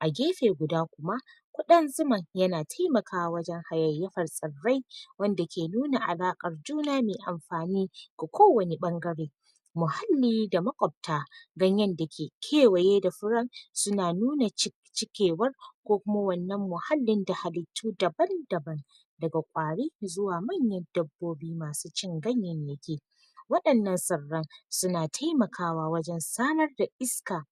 A gefe guda kuma kudin zuman ya na taimakawa wajen hayayafar tsarai wanda ke nuna halaƙar juna mai amfani ga ko wanne bangare muhalli da makopta ganyen da ke kewaye da furan su na nuna ci cikewar ko kuma wannan muhalli da halitu daban-daban da ga kwari zuwa mayar dabbobi masu cin ganyenyenke. Wadannan tsarai su na taimakawa wajen sanar da iska